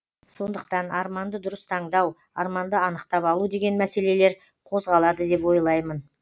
сондықтан арманды дұрыс таңдау арманды анықтап алу деген мәселелер қозғалады деп ойлаймын